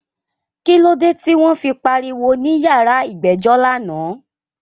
Kílódé tí wọ́n fi pariwo ní yàrá ìgbẹ́jọ́ lánàá?